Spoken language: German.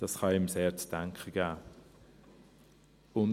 Dies kann einem sehr zu denken geben.